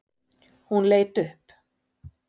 Hún leit upp.